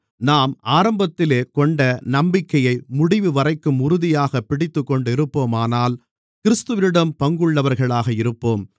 நாம் ஆரம்பத்திலே கொண்ட நம்பிக்கையை முடிவுவரைக்கும் உறுதியாகப் பிடித்துக்கொண்டிருப்போமானால் கிறிஸ்துவிடம் பங்குள்ளவர்களாக இருப்போம்